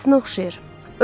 Anasına oxşayır.